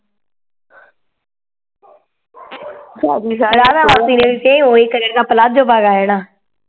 ਰਾਧਾ ਮਾਸੀ ਨੇ ਵੀ ਤੇ ਓਵੇ ਆ ਜਾਣਾ